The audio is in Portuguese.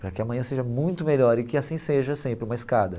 Para que amanhã seja muito melhor e que assim seja sempre, uma escada.